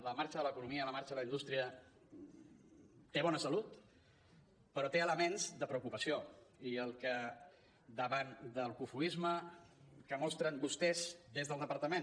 la marxa de l’economia la marxa de la indústria té bona salut però té elements de preocupació i el que davant del cofoisme que mostren vostès des del departament